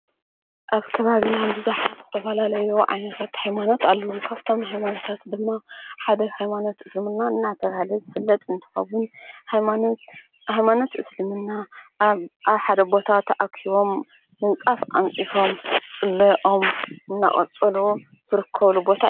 ኣብ ተባብ ሕንዲ ዙኃት ዝተብላለዮ ዓይነታት ሕይማኖት ኣለዉሉካብቶም ሕይማንታት ድማ ሓደ ሕይማኖት እስምና እናተብሃለ ዘፍለጥ እንተፈዉን ሕይማኖት እስልምና ኣሓደቦታት ተኣክሲቦም ምንጻፍ ኣንጺፎም ጽለኦም እናቐጸሉ ዘርከውሉቦታን እዩ ።